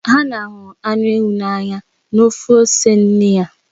Hana hụrụ anụ ewu n'anya na ofe ose nne ya.